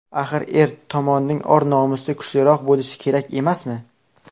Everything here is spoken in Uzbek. Axir, er tomonning or-nomusi kuchliroq bo‘lishi kerak emasmi?